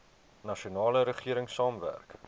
nasionale regering saamwerk